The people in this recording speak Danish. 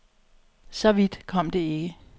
Så vidt kom det ikke.